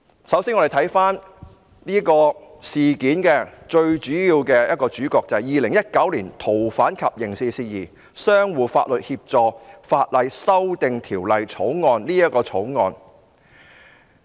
首先，讓我們回看事件中最主要的一環，即《2019年逃犯及刑事事宜相互法律協助法例條例草案》。